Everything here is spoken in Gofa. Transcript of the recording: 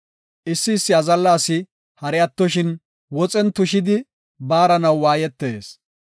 Issi issi azalla asi hari attoshin, woxen tushidi baaranaw waayetees.